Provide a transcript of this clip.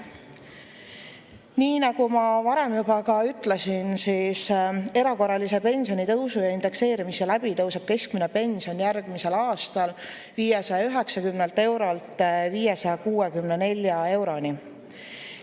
Nii nagu ma varem juba ütlesin, siis erakorralise pensionitõusu ja indekseerimise läbi tõuseb keskmine pension järgmisel aastal 590 eurolt 654 euroni.